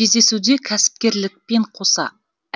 кездесуде кәсіпкерлікпен қоса